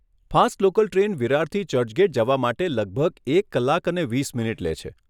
Fast local train વિરારથી ચર્ચગેટ જવા માટે લગભગ એક કલાક અને વીસ મિનિટ લે છે.